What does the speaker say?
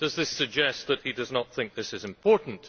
Does this suggest that he does not think this is important?